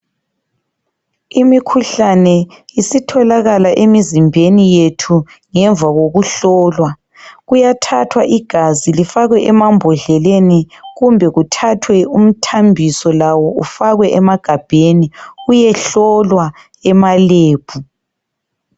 Imikhuhlane isitholakala emzimbeni yethu ngemva kokuhlowa. Kuyathathwa igazi lifakwe emambodleleni kumbe kuthathwe umthambiso lawo ufakwe emagabheni uyehlolwa ema lab.